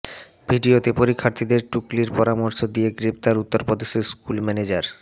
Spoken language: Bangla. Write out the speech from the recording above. ভিডিওতে পরীক্ষার্থীদের টুকলির পরামর্শ দিয়ে গ্রেফতার উত্তরপ্রদেশের স্কুল ম্যানেজার